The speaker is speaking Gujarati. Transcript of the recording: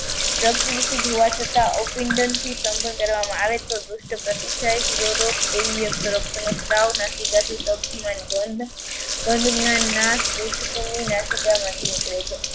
રક્ત દુષિત હોવા છતાં આવો પીંડન થી શ્વસન કરવામાં આવે તો નાસિકામાંથી નીકળે છે.